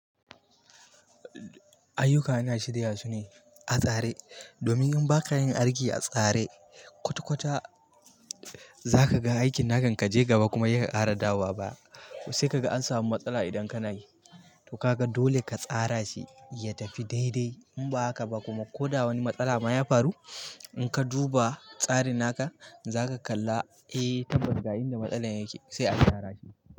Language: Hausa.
Ayyuka ana shiryasu ne a tsare domin in baka yin aiki a tsare kwata-kwata zakaga aikin naka kan kaje gaba kuma heka ƙara dawowa baya. Sai kaga an samu matsala idan kanayi to kaga dole katsara shi yatafi daidai. Inba haka ba kuma koda wani matsalama ya faru inka duba tsarin naka zaka kalla eh tabbas ga inda matsalar yake sai a gyara shi.